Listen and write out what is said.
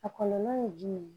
A kɔlɔlɔ ye jumɛn ye